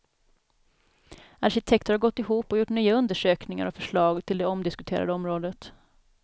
Arkitekter har gått ihop och gjort nya undersökningar och förslag till det omdiskuterade området.